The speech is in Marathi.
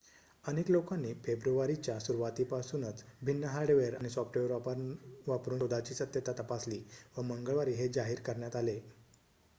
अनेक लोकांनी फेब्रुवारीच्या सुरुवातीपासून भिन्न हार्डवेअर आणि सॉफ्टवेअर वापरून शोधाची सत्यता तपासली व मंगळवारी हे जाहीर करण्यात आले